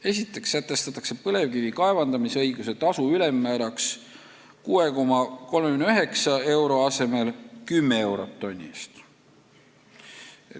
Esiteks sätestatakse põlevkivi kaevandamisõiguse tasu ülemmääraks 6,39 euro asemel 10 eurot tonni eest.